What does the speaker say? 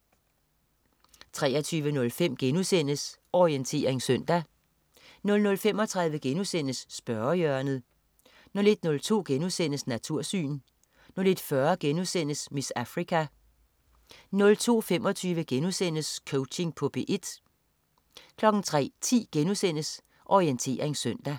23.05 Orientering søndag* 00.35 Spørgehjørnet* 01.02 Natursyn* 01.40 "Miss Africa"* 02.25 Coaching på P1* 03.10 Orientering søndag*